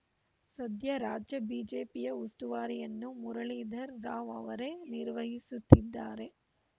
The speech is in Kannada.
ಸದ್ಯ ರಾಜ್ಯ ಬಿಜೆಪಿಯ ಉಸ್ತುವಾರಿಯನ್ನು ಮುರುಳೀಧರ್‌ ರಾವ್‌ ಅವರೇ ನಿರ್ವಹಿಸುತ್ತಿದ್ದಾರೆ